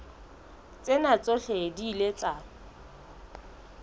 tsena tsohle di ile tsa